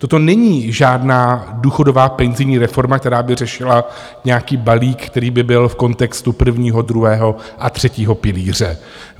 Toto není žádná důchodová penzijní reforma, která by řešila nějaký balík, který by byl v kontextu prvního, druhého a třetího pilíře.